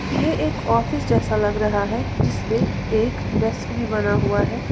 ये एक ऑफिस जैसा लग रहा है जिस पे एक डेस्क भी बना हुआ है।